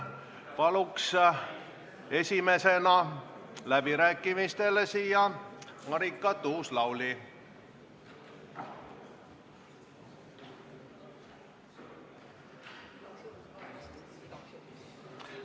Palun esimesena läbirääkimisteks siia Marika Tuus-Lauli.